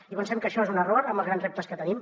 i pensem que això és un error amb els grans reptes que tenim